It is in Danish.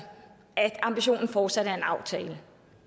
at ambitionen fortsat er en aftale